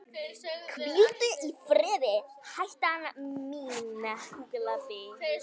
Hvíldu í friði hetjan mín.